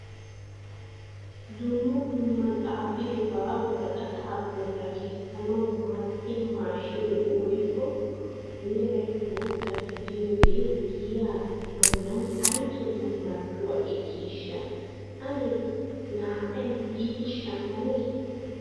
Dumma dumma xaafidoba woraqqata nolla kessanaw maaddiya maashinee ayyookka meray bootta gidiyooge giya bollan ay keena marccuwa ekkishsha ane naa'ay biidi shammane?